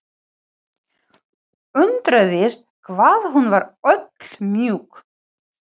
Undraðist hvað hún var öll mjúk.